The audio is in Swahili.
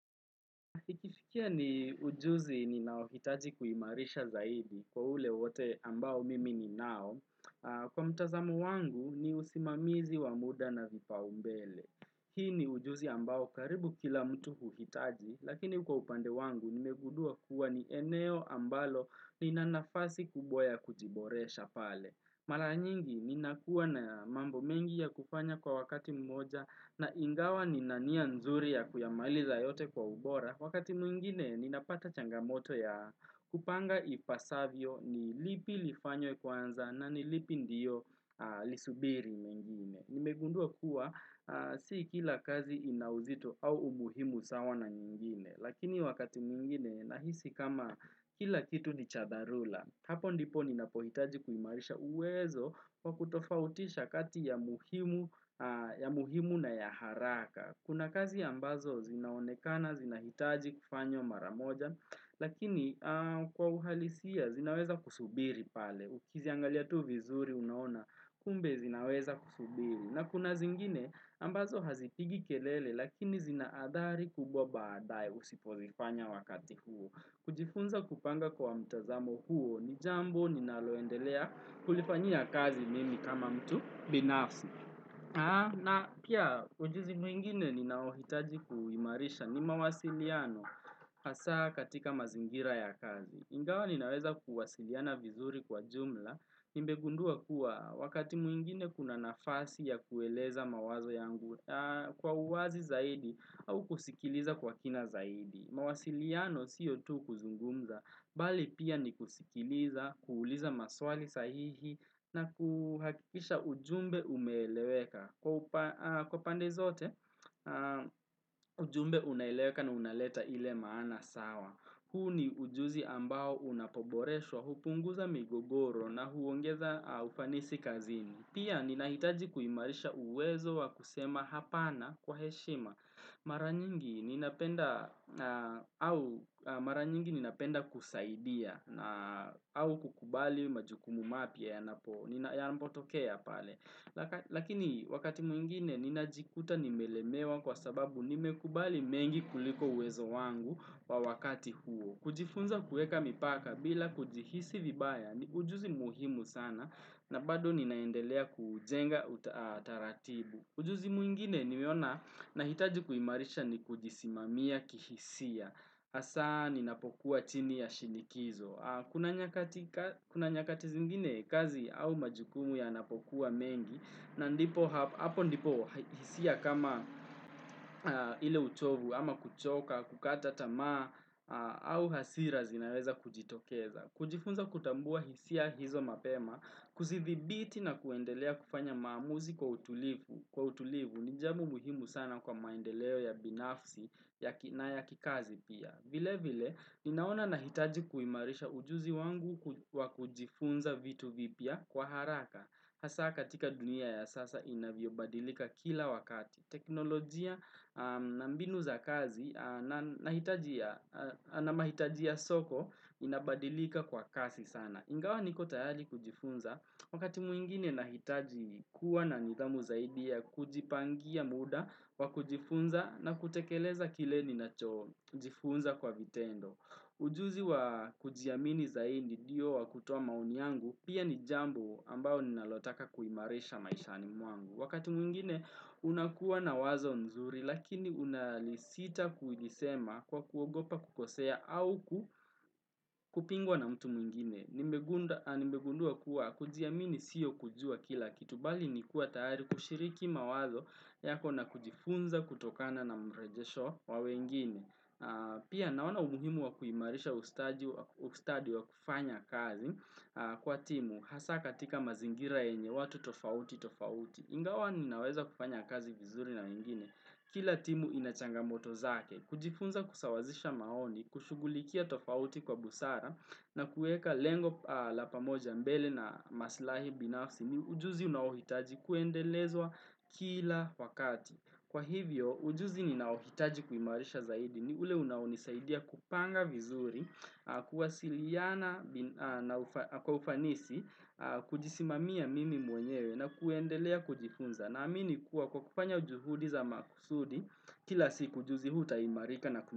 Ikifikia ni ujuzi ninaouhitaji kuimarisha zaidi kwa ule wote ambao mimi ni nao. Kwa mtazamo wangu ni usimamizi wa muda na vipaumbele. Hii ni ujuzi ambao karibu kila mtu huhitaji, lakini kwa upande wangu nimegundua kuwa ni eneo ambalo nina nafasi kubwa ya kujiboresha pale. Mara nyingi ninakuwa na mambo mengi ya kufanya kwa wakati mmoja na ingawa nina nia nzuri ya kuyamaliza yote kwa ubora Wakati mwingine ninapata changamoto ya kupanga ipasavyo ni lipi lifanywe kwanza na ni lipi ndiyo lisubiri mengine. Nimegunduwa kuwa si kila kazi ina uzito au umuhimu sawa na nyingine. Lakini wakati mwingine nahisi kama kila kitu ni cha dharura. Hapo ndipo ninapohitaji kuimarisha uwezo kwa kutofautisha kati ya muhimu na ya haraka. Kuna kazi ambazo zinaonekana, zinahitaji kufanywa mara moja, lakini kwa uhalisia zinaweza kusubiri pale. Ukiziangalia tu vizuri unaona, kumbe zinaweza kusubiri. Na kuna zingine ambazo hazipigi kelele, lakini zinaadhari kubwa baadaye usipozifanya wakati huo. Kujifunza kupanga kwa mtazamo huo, ni jambo ninaloendelea kulifanyia kazi mimi kama mtu binafsi. Na pia ujizi mwingine ninaohitaji kuimarisha ni mawasiliano hasa katika mazingira ya kazi. Ingawa ninaweza kuwasiliana vizuri kwa jumla, nimegundua kuwa wakati mwingine kuna nafasi ya kueleza mawazo yangu kwa uwazi zaidi au kusikiliza kwa kina zaidi. Mawasiliano sio tu kuzungumza, Bali pia ni kusikiliza, kuuliza maswali sahihi na kuhakisha ujumbe umeeleweka. Kwa pande zote, ujumbe unaeleweka na unaleta ile maana sawa. Huu ni ujuzi ambao unapoboreshwa, hupunguza migogoro na huongeza ufanisi kazini. Pia ninahitaji kuimarisha uwezo wa kusema hapana kwa heshima. Mara nyingi ninapenda kusaidia na au kukubali majukumu mapya yanapotokea pale. Lakini wakati mwingine ninajikuta nimelemewa kwa sababu nimekubali mengi kuliko uwezo wangu wa wakati huo. Kujifunza kuweka mipaka bila kujihisi vibaya ni ujuzi muhimu sana na bado ninaendelea kujenga utaratibu. Ujuzi mwingine nimeona nahitaji kuimarisha ni kujisimamia kihisia, hasa ninapokuwa chini ya shinikizo. Kuna nyakati zingine kazi au majukumu yanapokuwa mengi na ndipo hapo ndipo hisia kama ile uchovu ama kuchoka, kukata tamaa au hasira zinaweza kujitokeza. Kujifunza kutambua hisia hizo mapema, kuzithibiti na kuendelea kufanya maamuzi kwa utulivu, ni jambo muhimu sana kwa maendeleo ya binafsi na ya kikazi pia. Vile vile, ninaona nahitaji kuimarisha ujuzi wangu wa kujifunza vitu vipya kwa haraka. Hasa katika dunia ya sasa inavyobadilika kila wakati. Teknolojia na mbinu za kazi na mahitaji ya soko inabadilika kwa kasi sana. Ingawa niko tayari kujifunza. Wakati mwingine nahitaji kuwa na nidhamu zaidi ya kujipangia muda wa kujifunza na kutekeleza kile ninachojifunza kwa vitendo. Ujuzi wa kujiamini zaidi ndio wa kutoa maoni yangu pia ni jambo ambao ninalotaka kuimarisha maishani mwangu. Wakati mwingine unakuwa na wazo nzuri lakini unalisita kujisema kwa kuogopa kukosea au kupingwa na mtu mwingine. Nimegundua kuwa kujiamini sio kujua kila kitu bali nikuwa tayari kushiriki mawazo yako na kujifunza kutokana na mrejesho wa wengine. Pia naona umuhimu wa kuimarisha ustadi wa kufanya kazi kwa timu hasa katika mazingira yenye watu tofauti tofauti. Ingawa ninaweza kufanya kazi vizuri na wengine. Kila timu ina changamoto zake. Kujifunza kusawazisha maoni, kushughulikia tofauti kwa busara na kuweka lengo la pamoja mbele na masilahi binafsi ni ujuzi unaohitaji kuendelezwa kila wakati. Kwa hivyo, ujuzi ninaohitaji kuimarisha zaidi ni ule unaonisaidia kupanga vizuri, kuwasiliana kwa ufanisi, kujisimamia mimi mwenyewe na kuendelea kujifunza. Naamini kuwa kwa kufanya juhudi za maksudi kila siku ujuzi huu utaimarika na kumarika.